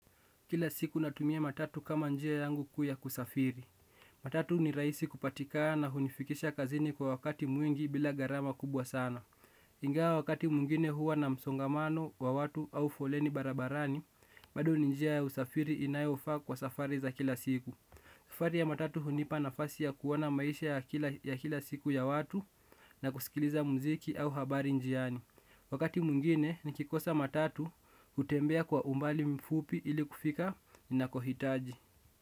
Kila siku natumia matatu kama njia yangu kuu ya kusafiri. Matatu ni rahisi kupatikana na hunifikisha kazini kwa wakati mwingi bila gharama kubwa sana. Ingawa wakati mwingine huwa na msongamano wa watu au foleni barabarani bado ni njia ya usafiri inayofaa kwa safari za kila siku. Safari ya matatu hunipa nafasi ya kuona maisha ya kila siku ya watu. Na kusikiliza muziki au habari njiani. Wakati mwingine nikikosa matatu. Hutembea kwa umbali mfupi ili kufika ninakohitaji.